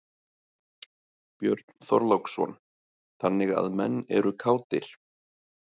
Björn Þorláksson: Þannig að menn eru kátir?